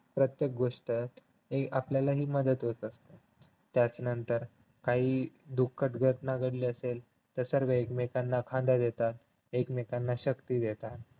प्रत्येक गोष्टीत आपल्याला हि मदत होते त्याच नंतर काही दुःखद घटना घडली असेल तर सर्वे एकमेकांना खांदा देतात एकमेकांना शक्ती देतात